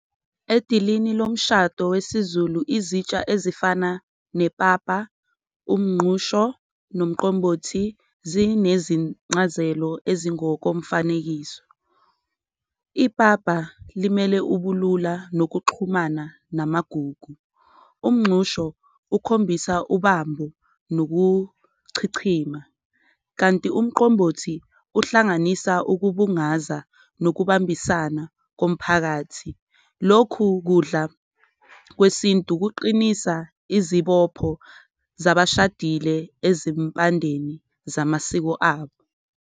Edilini lomshado wesiZulu izitsha ezifana nepapa, umnqusho nomqombothi zinezincazelo ezingokomfanekiso, ipapa limele ubulula nokuxhumana namagugu, umnxusho ukhombisa ubambo nokuchichima, kanti umqombothi uhlanganisa okubungaza nokubambisana komphakathi. Lokhu kudla kwesintu kuqinisa izibopho zabashadile ezimpandeni zamasiko abo.